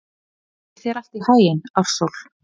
Gangi þér allt í haginn, Ársól.